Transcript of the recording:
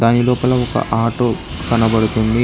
పై లోపల ఒక ఆటో కనబడుతుంది.